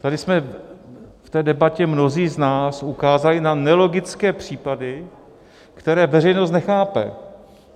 Tady jsme v té debatě mnozí z nás ukázali na nelogické případy, které veřejnost nechápe.